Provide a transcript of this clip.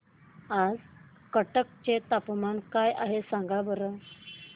आज कटक चे तापमान काय आहे सांगा बरं